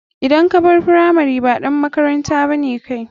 Idan kabar firamari kai ba ɗan makaranta bane.